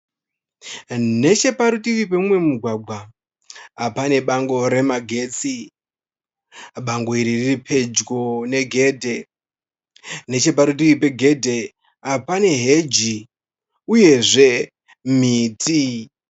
Necheparutivi peumwe mugwagwa pane bango remagetsi, bango iri riri pedyo negedhe necheparudivi pegedhe pane heji uyezve miti.